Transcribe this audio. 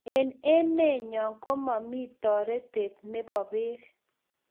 Eng emenyo komami toretet nebo beek